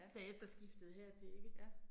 Da jeg så skiftede hertil ikke